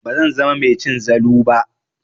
Bazan zama mai cin zalu ba.